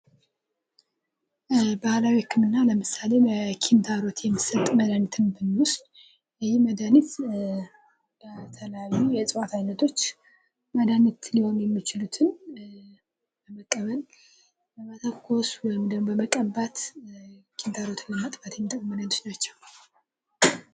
ባህላዊ ህክምና ለምሳሌ ለኪንታሮት የሚሰጥ መድሀኒትን ብንወስድ ይህ መድሃኒት ለተለያዩ ከእጽዋት አይነቶች መድሀኒት ሊሆኑ የሚችሉትን በመጠቀም መተኮስ ወይም ደግሞ መቀባት ኪንታሮትን ለማጥፋት የሚጠቅሙ መድሃኒቶች ናቸው።